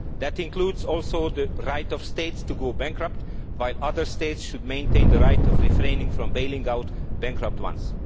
That includes also the right of states to go bankrupt, while other states should maintain the right of refraining from bailing out bankrupt ones.